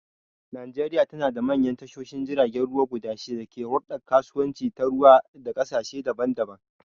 Najeriya tanada manyan tashoshin jiragen ruwa guda shida da ke huldar kasuwanci ta ruwa da kasashe daban-daban